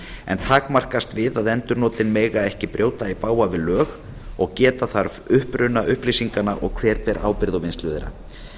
en takmarkast við að endurnotin mega ekki brjóta í bága við lög og geta þarf uppruna upplýsinganna og hver ber ábyrgð á vinnslu þeirra